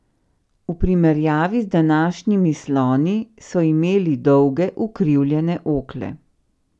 V primerjavi z današnjimi sloni so imeli dolge ukrivljene okle.